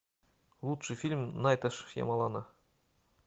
лучший фильм найта шьямалана